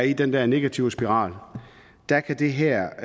i den her negative spiral kan det her